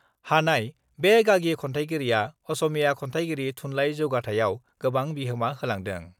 हानाय बे गागि खन्थाइगिरिआ असमीया खन्थाइयारि थुनलाइ जौगाथायाव गोबां बिहोमा होलांदों।